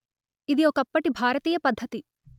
ఇది ఒకప్పటి భారతీయ పద్ధతి